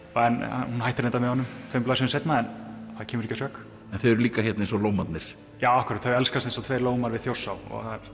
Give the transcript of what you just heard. hún hætti reyndar með honum tveimur blaðsíðum seinna en það kemur ekki að sök en þau eru líka hérna eins og lómarnir þau elskast eins og tveir við Þjórsá